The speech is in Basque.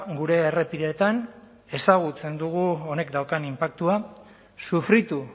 gure errepideetan ezagutzen dugu honek daukan inpaktua sufritu